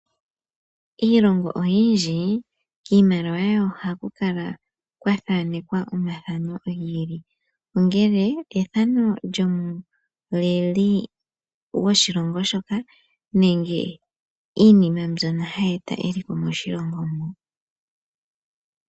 Iilongo oyindji iimaliwa yawo oha ku kala kwa thaanekwa omathano giili ongele ethano lyomuleli gwoshilongo shoka nenge iinima mbyono ha yi eta eliko moshilongo mo.